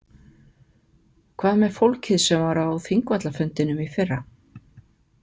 Hvað með fólkið sem var á Þingvallafundinum í fyrra?